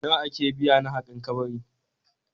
Nawa ake biya na haƙan kabari?